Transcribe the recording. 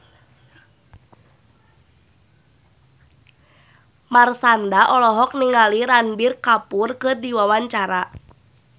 Marshanda olohok ningali Ranbir Kapoor keur diwawancara